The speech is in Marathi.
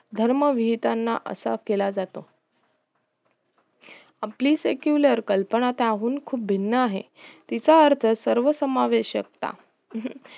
धर्म विहताना असाप केला जातो आपली secular कल्पना त्याहून खूप भिन्न आहे तीचा अर्थ सर्व समावेषकता